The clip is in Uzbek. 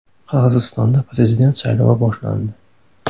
Qirg‘izistonda prezident saylovi boshlandi.